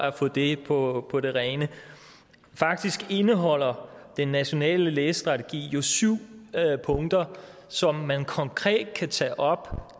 at få det på på det rene faktisk indeholder den nationale læsestrategi jo syv punkter som man konkret kan tage op